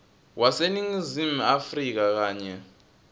waseningizimu afrika kanye